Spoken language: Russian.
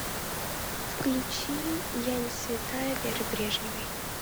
включи я не святая веры брежневой